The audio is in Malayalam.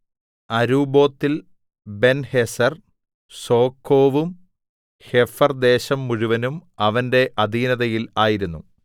അരുബ്ബോത്തിൽ ബെൻഹേസെർ സോഖോവും ഹേഫെർദേശം മുഴുവനും അവന്റെ അധീനതയിൽ ആയിരുന്നു